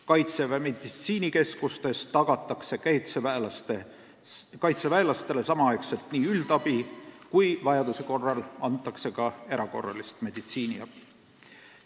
Kaitseväe meditsiinikeskustes tagatakse kaitseväelastele üldabi, aga vajaduse korral antakse ka erakorralist meditsiiniabi.